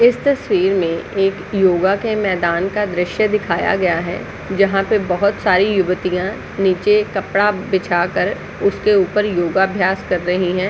इस तस्वीर में एक योगा के मैदान का द्रश्य दिखाया गया है जहा पर बहुत सारी युवतिया नीचे कपडा बिछा कर उसके ऊपर योगा अभ्यास कर रही है।